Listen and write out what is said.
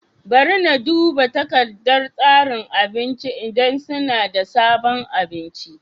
Bari na duba takardar tsarin abincin idan suna da sabon abinci.